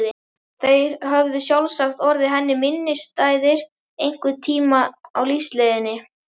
Þeir höfðu sjálfsagt orðið henni minnisstæðir einhvern tíma á lífsleiðinni.